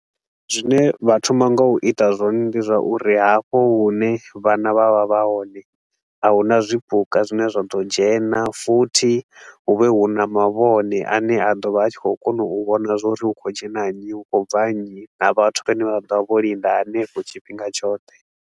Zwine vha thoma nga u ita zwone ndi zwauri hafho hune vhana vha vha vha hone, a hu na zwipuka zwine zwa ḓo dzhena futhi hu vhe hu na mavhone a ne a ḓo vha a tshi khou kona u vhona zwa uri hu khou dzhena nnyi, hu khou bva nnyi na vhathu vhane vha ḓo vha vho linda hanefho tshifhinga tshoṱhe.